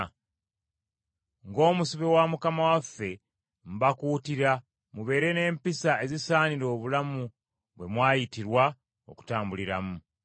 Ng’omusibe wa Mukama waffe, mbakuutira mubeere n’empisa ezisaanira obulamu bwe mwayitirwa okutambuliramu.